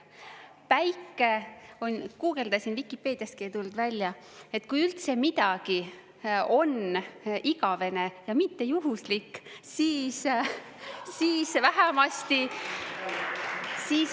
Päike on – guugeldasin, Vikipeediastki ei tulnud välja –, et kui üldse midagi on igavene ja mitte juhuslik, siis vähemasti …